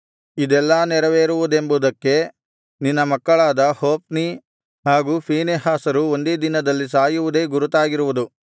ಇದೆಲ್ಲಾ ನೆರವೇರುವುದೆಂಬುದಕ್ಕೆ ನಿನ್ನ ಮಕ್ಕಳಾದ ಹೊಫ್ನಿ ಹಾಗೂ ಫೀನೆಹಾಸರು ಒಂದೇ ದಿನದಲ್ಲಿ ಸಾಯುವುದೇ ಗುರುತಾಗಿರುವುದು